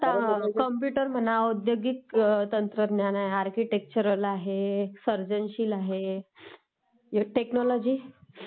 computer म्हणा औद्योगिक तंत्रज्ञान, आर्किटेक्चररल आहे, सर्जनशील आहे, टेक्नॉलॉजी..